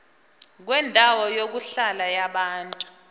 kwendawo yokuhlala yabantu